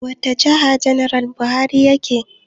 Wata jiha janar Buhari yake?